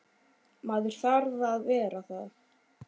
Maður þarf að vera það.